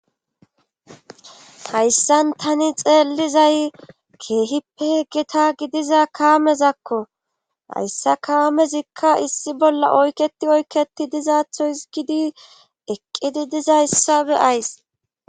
Hayssan tani xeellizay keehippe geta gidiza kaamezakko hayssa kaamezikka issi bolla oykketi oykketi dizaatho hisgidi eqqidi diza hissabe ays